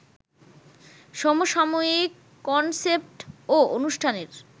সমসাময়িক কনসেপ্ট ও অনুষ্ঠানের